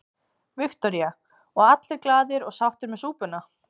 Viktoría: Og allir glaðir og sáttir með súpuna?